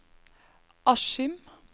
Askim